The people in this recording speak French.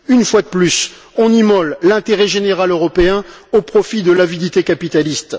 Une fois de plus, on immole l'intérêt général européen au profit de l'avidité capitaliste.